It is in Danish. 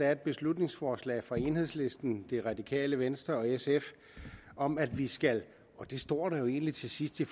er et beslutningsforslag fra enhedslisten det radikale venstre og sf om at vi skal og det står der jo egentlig til sidst i